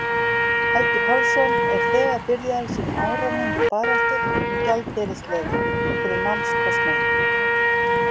Helgi Pálsson er þegar byrjaður sína áralöngu baráttu um gjaldeyrisleyfi fyrir námskostnaði.